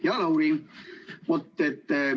Hea Lauri!